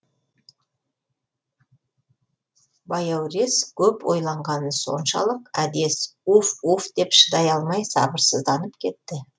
баяурес көп ойланғаны соншалық әдес уф уф деп шыдай алмай сабырсызданып кетті